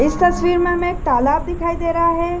इस तस्वीर में हमें एक तालाब दिखाई दे रहा है।